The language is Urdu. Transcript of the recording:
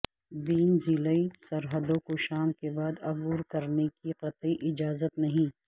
بین ضلعی سرحدوں کو شام کے بعد عبور کرنے کی قطعی اجازت نہیں